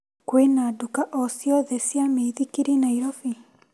Kwĩna nduka ociothe cia mĩithikiri Naĩrobĩ ?